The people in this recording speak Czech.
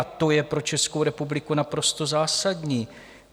A to je pro Českou republiku naprosto zásadní.